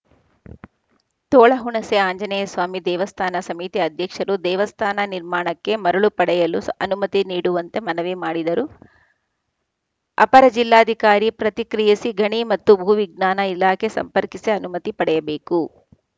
ತೋಳಹುಣಸೆ ಆಂಜನೇಯ ಸ್ವಾಮಿ ದೇವಸ್ಥಾನ ಸಮಿತಿ ಅಧ್ಯಕ್ಷರು ದೇವಸ್ಥಾನ ನಿರ್ಮಾಣಕ್ಕೆ ಮರಳು ಪಡೆಯಲು ಸ್ ಅನುಮತಿ ನೀಡುವಂತೆ ಮನವಿ ಮಾಡಿದರು ಅಪರ ಜಿಲ್ಲಾಧಿಕಾರಿ ಪ್ರತಿಕ್ರಿಯಿಸಿ ಗಣಿ ಮತ್ತು ಭೂ ವಿಜ್ಞಾನ ಇಲಾಖೆ ಸಂಪರ್ಕಿಸಿ ಅನುಮತಿ ಪಡೆಯಬೇಕು